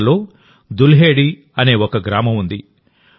హర్యానాలో దుల్హేడి అనే ఒక గ్రామం ఉంది